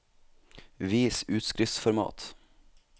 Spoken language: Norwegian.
Vis utskriftsformat